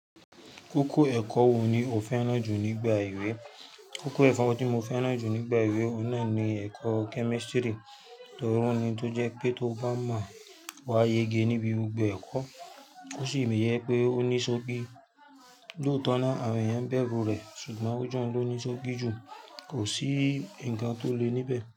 Kókó ẹ̀kọ́ wo ni o fẹ́ràn jù nígbà èwe? Kókó ẹ̀kọ́ tí mo fẹ́ràn jù nígbà èwe, náà ni ẹ̀kọ́ kẹ́mísítírì, torí ó ni tó jẹ́ pé tó bá máa wá yege níbi gbogbo ẹ̀kọ́, ó sì ń yẹ pé ó ní ṣókí. Lóòótọ́ náà, àwọn ènìyàn ń bẹrù rẹ̀, ṣùgbọ́n ó jẹ́ ohun tó ní ṣókí jù, kò sí ǹkan tó le níbẹ̀.